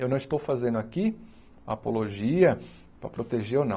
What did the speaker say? Eu não estou fazendo aqui apologia para proteger ou não.